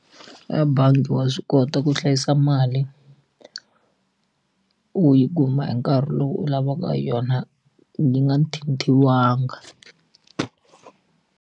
A bangi wa swi kota ku hlayisa mali u yi kuma hi nkarhi lowu u lavaka yona yi nga thinthiwanga.